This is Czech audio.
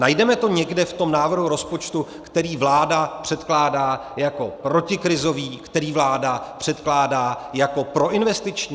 Najdeme to někde v tom návrhu rozpočtu, který vláda předkládá jako protikrizový, který vláda předkládá jako proinvestiční?